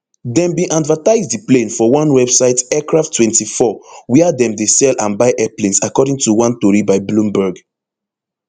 dem bin advertise di plane for one website aircrafttwenty-four wia dem dey sell and buy airplanes according to one tori by bloomberg